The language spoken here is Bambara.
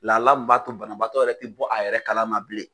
Lala b'a to banabaatɔ tɛ bɔ a yɛrɛ kalama bilen.